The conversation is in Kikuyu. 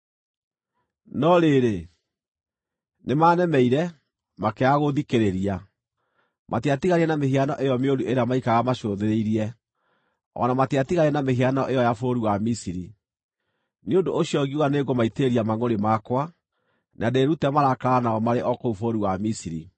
“ ‘No rĩrĩ, nĩmanemeire, makĩaga gũũthikĩrĩria; matiatiganire na mĩhiano ĩyo mĩũru ĩrĩa maikaraga macũthĩrĩirie, o na matiatiganire na mĩhianano ĩyo ya bũrũri wa Misiri. Nĩ ũndũ ũcio ngiuga nĩngũmaitĩrĩria mangʼũrĩ makwa, na ndĩĩrute marakara nao marĩ o kũu bũrũri wa Misiri.